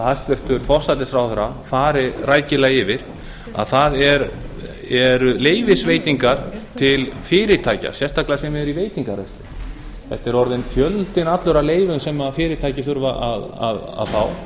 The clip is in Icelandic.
hæstvirtur forsætisráðherra fari rækilega yfir það eru leyfisveitingar til fyrirtækja sérstaklega þeirra sem eru í veitingarekstri þetta er orðinn fjöldinn allur af leyfum sem fyrirtæki þurfa að fá